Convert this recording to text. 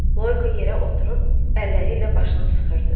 Loyko yerə oturub, əlləri ilə başını sıxdı.